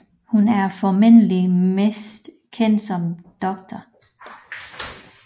Hun er formentlig mest kendt som Dr